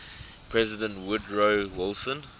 president woodrow wilson